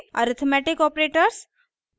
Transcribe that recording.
arithmetic operators